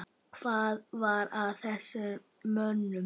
Hvað var að þessum mönnum?